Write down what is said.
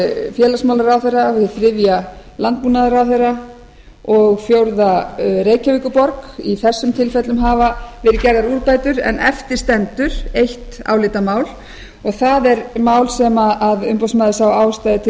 félagsmálaráðherra hið þriðja landbúnaðaráðherra og hið fjórða reykjavíkurborg í flestum tilfellum hafa verið gerðar úrbætur en eftir stendur eitt álitamál og það er mál sem umboðsmaður sá ástæðu til